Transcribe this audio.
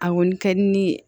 A kɔni ka di ne ye